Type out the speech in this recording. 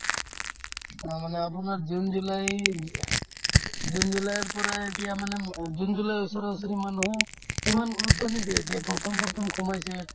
তাৰমানে আপোনাৰ জুন-জুলাইৰ জুন-জুলাইৰ পৰা এতিয়া মানে ম জুন-জুলাইৰ ওচৰা-ওচৰি মানুহো ইমান গুৰুত্ৱ নিদিয়ে এতিয়া প্ৰথম প্ৰথম সুমাইছে